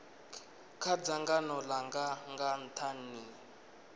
kha dzangano langa nga nthani